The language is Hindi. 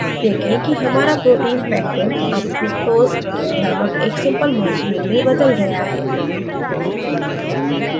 देखें कि हमारा protein pectin अब fructose named एक simple molecule में बदल गया है